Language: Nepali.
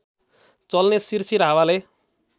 चल्ने सिरसिर हावाले